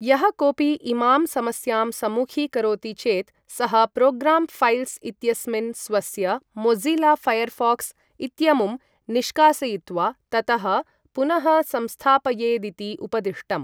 यः कोपि इमां समस्यां सम्मुखीकरोति चेत् सः 'प्रोग्राम् फैल्स्' इत्यस्मिन् स्वस्य मोझिला फायर्फोक्स् इत्यमुं निष्कासयित्वा, ततः पुनः संस्थापयेदिति उपदिष्टम्।